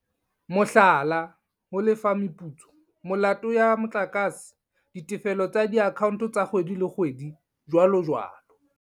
Mohlala, ho lefa meputso, molato ya motlakase, ditefello tsa diakhaonto tsa kgwedi le kgwedi, jwalojwalo.